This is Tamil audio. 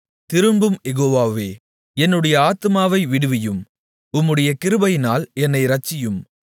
திரும்பும் யெகோவாவே என்னுடைய ஆத்துமாவை விடுவியும் உம்முடைய கிருபையினால் என்னை இரட்சியும்